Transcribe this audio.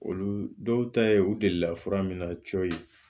Olu dɔw ta ye u delila fura min na cɔyi